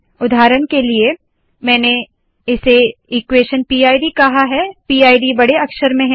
उदाहरण के लिए मैंने इसे इक्वेश़न पिड कहा है पिड बड़े अक्षर में है